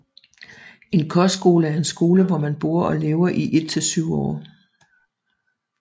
En kostskole er en skole hvor man bor og lever i et til syv år